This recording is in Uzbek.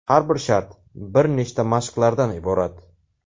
Har bir shart bir nechta mashqlardan iborat.